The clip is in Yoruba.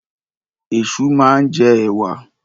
Ẹ̀ṣu máa ń jẹ ẹ̀wà.